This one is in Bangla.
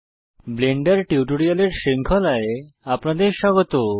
ব্লেন্ডার টিউটোরিয়ালের শৃঙ্খলায় আপনাদের স্বাগত